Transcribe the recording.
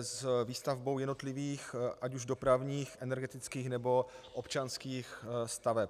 s výstavbou jednotlivých ať už dopravních, energetických, nebo občanských staveb.